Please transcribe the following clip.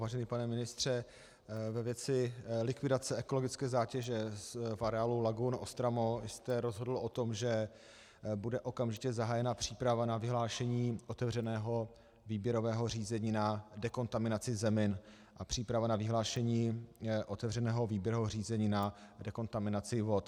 Vážený pane ministře, ve věci likvidace ekologické zátěže v areálu lagun OSTRAMO jste rozhodl o tom, že bude okamžitě zahájena příprava na vyhlášení otevřeného výběrového řízení na dekontaminaci zemin a příprava na vyhlášení otevřeného výběrového řízení na dekontaminaci vod.